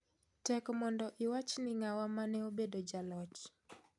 Tek mondo iwach ni ng'awa mane obedo jaloch